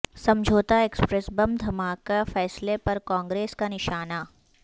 سمجھوتہ express bomb دھماکہ فیصلہ پر کانگریس کا نشانہ